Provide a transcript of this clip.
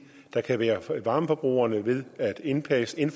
der kan være for varmeforbrugerne ved indpasning